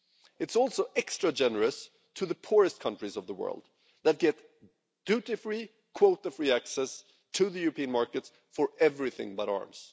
It's also extra generous to the poorest countries of the world that get duty free, quota free access to the European markets for everything but arms.